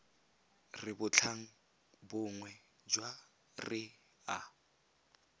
re bontlhabongwe jwa re a